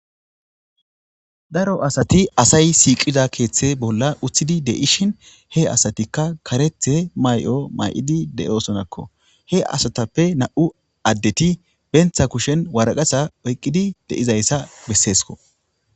daro asati asay siiqida keeththe bolla uththidi deishin he asatikka karethe may7o may7idi deyosonakko he asatappe na7u addeti bentha kushen waraqasa oyqqidi de7izayssa besseesko